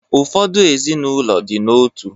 Ụfọdụ ezinụlọ dị n’otu